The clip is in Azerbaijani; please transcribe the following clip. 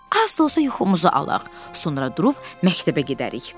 Az da olsa yuxumuzu alaq, sonra durub məktəbə gedərik.